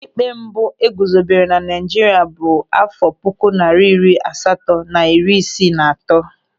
Ụlọịkpe mbụ eguzobere na Naịjirịa bụ áfọ̀ puku narị iri asatọ na iri isii na atọ.